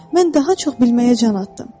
Mən daha çox bilməyə can atdım.